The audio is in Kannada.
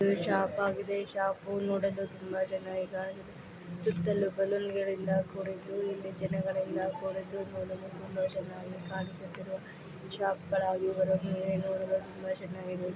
ಇದು ಶಾಪ್ ಆಗಿದೆ. ಶಾಪ್ ನೋಡಲು ತುಂಬಾ ಚೆನ್ನಾಗಿ ಕಾಣಿಸುತ್ತಿದೆ. ಸುತ್ತಲೂ ಬಳುನ್ ಗಳಿಂದ ಕೂಡಿದ್ದು ಇಲ್ಲಿ ಜನಗಳೆಲ್ಲ ನೋಡಲು ಚೆನ್ನಾಗಿ ಕಾಣಿಸುತ್ತಿದೆ. ಶಾಪ್ಸ್ಗಳಾಗಿ ಹೊರಗೆ ನೋಡಲು ತುಂಬಾ ಚೆನ್ನಾಗಿದೆ. .